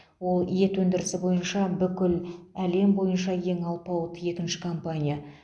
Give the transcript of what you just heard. ол ет өндірісі бойынша бүкіл әлем бойынша ең алпауыт екінші компания